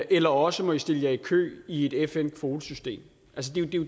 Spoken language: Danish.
eller også må de stille sig i kø i et fn kvotesystem